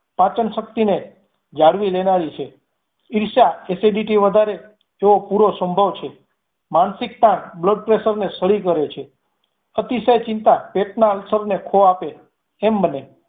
પાચન શક્તિને જાળવી લેનારી છે ઈર્ષ્યા acidity વધારે તેઓ પૂરો સંભવ છે, માનસિકતા blood pressure ને સળી કરે છે અતિશય ચિંતા પેટ ના અવસાવ ને ખો આપે એમ બને